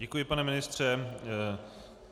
Děkuji, pane ministře.